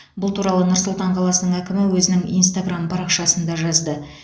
бұл туралы нұр сұлтан қаласының әкімі өзінің инстаграм парақшасында жазды